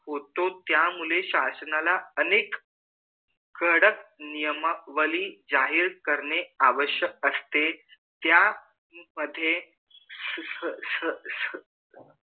उतो त्या मुले शषणला कडक निवमावली जाहीर करने आवश्यक असते त्या मधे श श श